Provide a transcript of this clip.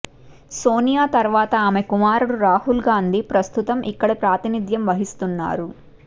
సోనియా తర్వాత ఆమె కుమారుడు రాహుల్గాంధీ ప్రస్తుతం ఇక్కడ ప్రాతినిధ్యం వహిస్తున్నారు